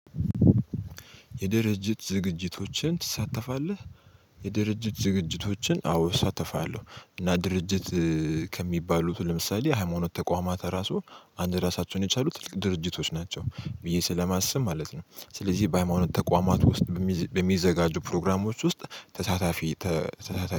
"የድርጅት ዝግጅቶችን ትሳተፋለህ?" የድርጅት ዝግጅቶችን አዎ እሳተፋለሁ። እና ድርጅት ከሚባሉት ለምሳሌ ሃይማኖት ተቋማት ራሱ አንድ ራሳቸውን የቻሉ ትልቅ ድርጅቶች ናቸው ብዬ ስለማስብ ማለት ነው። ስለዚህ በሃይማኖት ተቋማት ውስጥ በሚዝ በሚዘጋጁ ፕሮግራሞች ውስጥ ተሳታፊ ተሳታፊ